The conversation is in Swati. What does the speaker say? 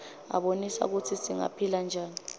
abonisa kutsi singaphila njani